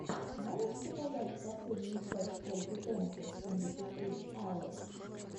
можешь показать последнюю часть ольги дэнсер семьдесят три айэл